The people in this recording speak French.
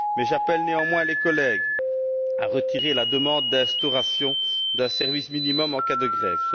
J'appelle néanmoins les collègues à retirer la demande d'instauration d'un service minimum en cas de grève.